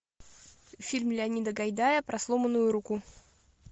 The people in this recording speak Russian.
фильм леонида гайдая про сломанную руку